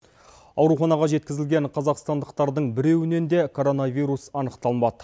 ауруханаға жеткізілген қазақстандықтардың біреуінен де коронавирус анықталмады